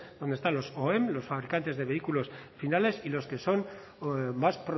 donde están los oem los fabricantes de vehículos finales y los que son más